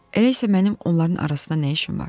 Elə isə mənim onların arasında nə işim var?